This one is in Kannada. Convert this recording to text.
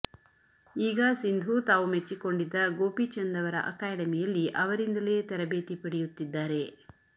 ಈಗ ಸಿಂಧು ತಾವು ಮೆಚ್ಚಿಕೊಂಡಿದ್ದ ಗೋಪಿಚಂದ್ ಅವರ ಅಕಾಡೆಮಿಯಲ್ಲಿ ಅವರಿಂದಲೇ ತರಬೇತಿ ಪಡೆಯುತ್ತಿದ್ದಾರೆ